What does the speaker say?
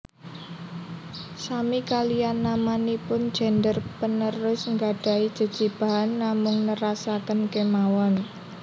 Sami kaliyan namanipun gender panerus nggadhahi jejibahan namung nerasaken kemawon